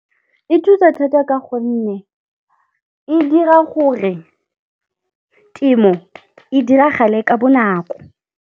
E thusa thata ka gonne e dira gore temo e diragale ka bonako.